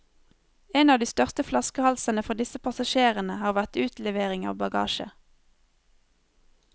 En av de største flaskehalsene for disse passasjerene har vært utlevering av bagasje.